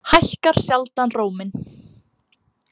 Hækkar sjaldan róminn.